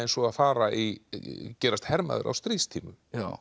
og fara í gerast hermaður á stríðstímum